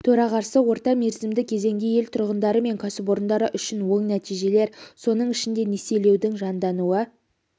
төрағасы орта мерзімді кезеңде ел тұрғындары мен кәсіпорындары үшін оң нәтижелер соның ішінде несиелеудің жандануы